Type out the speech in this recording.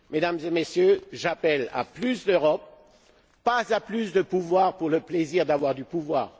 Mesdames et Messieurs, j'appelle à plus d'Europe, pas à plus de pouvoir pour le plaisir d'avoir du pouvoir.